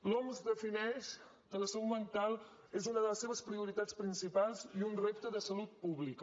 l’oms defineix que la salut mental és una de les seves prioritats principals i un repte de salut pública